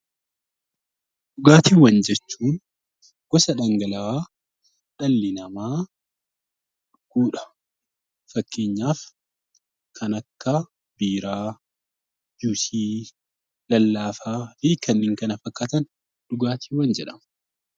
Dhugaatiiwwan jechuun gosa dhangala'aa dhalli namaa fakkeenyaaf kan akka biiraa, juusii, lallaafaa fi kanneen kana fakkaatan dhugaatiiwwan jedhamu.